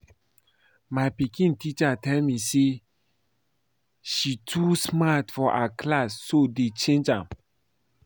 My pikin teacher tell me say she too smart for her class so dey change am